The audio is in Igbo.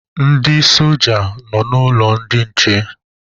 Ndị soja nọ n'ụlọ ndị nche